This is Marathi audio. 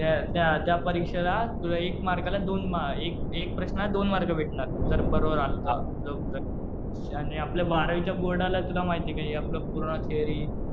त्या परीक्षेला तुला एक मार्कला दोन, एक प्रश्नाला दोन मार्क भेटणार. जर बरोबर आलं तर तुझं उत्तर. आणि आपलं बारावीच्या बोर्डाला तुला माहितीये का हे आपलं पूर्ण थेरी